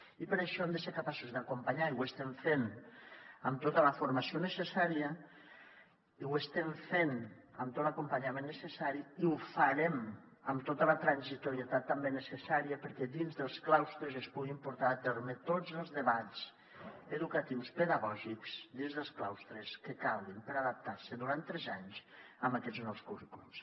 i per això hem de ser capaços d’acompanyar i ho estem fent amb tota la formació necessària i ho estem fent amb tot l’acompanyament necessari i ho farem amb tota la transitorietat també necessària perquè dins dels claustres es puguin portar a terme tots els debats educatius pedagògics que calguin per adaptar se durant tres anys a aquests nous currículums